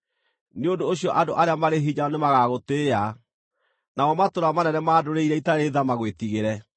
Nĩ ũndũ ũcio andũ arĩa marĩ hinya nĩmagagũtĩĩa, namo matũũra manene ma ndũrĩrĩ iria itarĩ tha magwĩtigĩre.